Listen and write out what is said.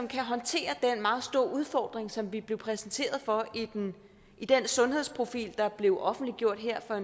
kan håndtere den meget store udfordring som vi blev præsenteret for i den sundhedsprofil som blev offentliggjort her for